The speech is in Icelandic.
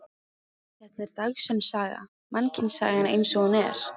Þetta er dagsönn saga, mannkynssagan eins og hún er.